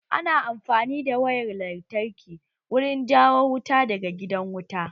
Ana amfani da wayar lantarki wurin jawo wuta daga gidan wuta